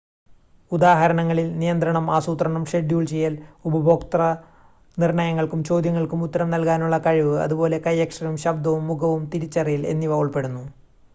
ഉദാഹരണങ്ങളിൽ നിയന്ത്രണം ആസൂത്രണം ഷെഡ്യൂൾ ചെയ്യൽ ഉപഭോക്തൃ നിർണ്ണയങ്ങൾക്കും ചോദ്യങ്ങൾക്കും ഉത്തരം നൽകാനുള്ള കഴിവ് അതുപോലെ കൈയക്ഷരവും ശബ്‌ദവും മുഖവും തിരിച്ചറിയൽ എന്നിവ ഉൾപ്പെടുന്നു